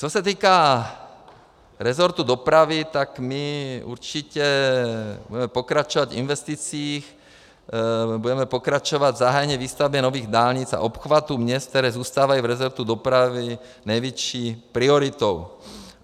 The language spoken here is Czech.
Co se týká rezortu dopravy, tak my určitě budeme pokračovat v investicích, budeme pokračovat v zahájené výstavbě nových dálnic a obchvatů měst, které zůstávají v rezortu dopravy největší prioritou.